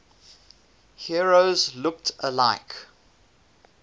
heroes looked like